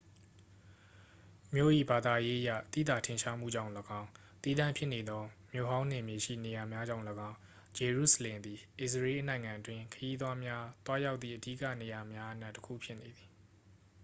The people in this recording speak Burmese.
မြို့၏ ဘာသာရေးအရ သိသာထင်ရှားမှုကြောင့်လည်းကောင်း သီးသန့်ဖြစ်နေသော မြို့ဟောင်းနယ်မြေရှိ နေရာများကြောင့်လည်းကောင်း ဂျေရုဆလင်သည် အစ္စရေးနိုင်ငံအတွင်း ခရီးသွားများ သွားရောက်သည့်အဓိကနေရာများအနက် တစ်ခုဖြစ်နေသည်